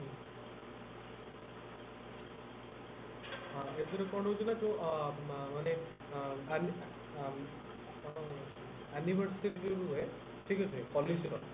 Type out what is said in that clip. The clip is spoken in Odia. ଏଦ୍ବାରା କଣ ହଉଛି ନା ଅ ମାନେ ଅ ଅ ଆନି ଅ କଣ animates କରି ଯୋଉ ରୁହେ ଠିକ ଅଛି policy ର